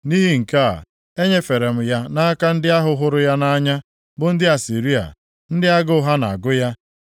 “Nʼihi nke a enyefere m ya nʼaka ndị ahụ hụrụ ya nʼanya, bụ ndị Asịrịa, ndị agụụ ha na-agụ ya.